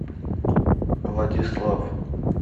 владислав